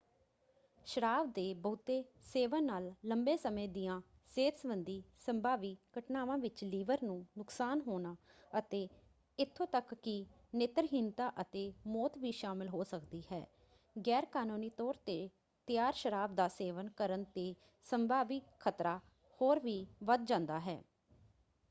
ਸ਼ਰਾਬ ਦੇ ਬਹੁਤੇ ਸੇਵਨ ਨਾਲ ਲੰਬੇ ਸਮੇਂ ਦੀਆਂ ਸਿਹਤ ਸਬੰਧੀ ਸੰਭਾਵੀ ਘਟਨਾਵਾਂ ਵਿੱਚ ਲਿਵਰ ਨੂੰ ਨੁਕਸਾਨ ਹੋਣਾ ਅਤੇ ਇੱਥੋਂ ਤੱਕ ਕਿ ਨੇਤਰਹੀਨਤਾ ਅਤੇ ਮੌਤ ਵੀ ਸ਼ਾਮਲ ਹੋ ਸਕਦੀ ਹੈ। ਗੈਰਕਾਨੂੰਨੀ ਤੌਰ 'ਤੇ ਤਿਆਰ ਸ਼ਰਾਬ ਦਾ ਸੇਵਨ ਕਰਨ 'ਤੇ ਸੰਭਾਵੀ ਖ਼ਤਰਾ ਹੋਰ ਵੀ ਵੱਧ ਜਾਂਦਾ ਹੈ।